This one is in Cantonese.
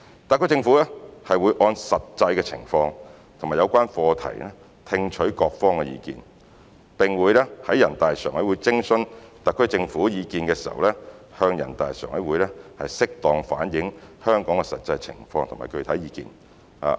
特區政府會按實際情況及有關課題聽取各方意見，並會在人大常委會徵詢特區政府意見時向人大常委會適當反映香港的實際情況及具體意見。